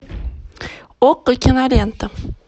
окко кинолента